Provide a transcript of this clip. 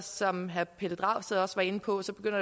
som herre pelle dragsted også var inde på